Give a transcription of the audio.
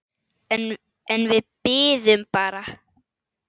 En við biðum bara.